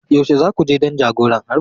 Yaushe za ku je don jagoran harbin?